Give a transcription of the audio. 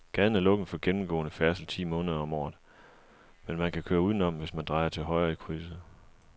Gaden er lukket for gennemgående færdsel ti måneder om året, men man kan køre udenom, hvis man drejer til højre i krydset.